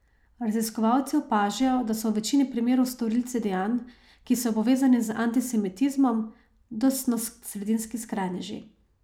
Raziskovalci opažajo, da so v večini primerov storilci dejanj, ki so povezani z antisemitizmom, desnosredinski skrajneži.